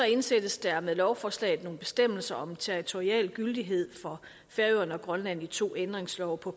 indsættes der med lovforslaget nogle bestemmelser om territorial gyldighed for færøerne og grønland i to ændringslove på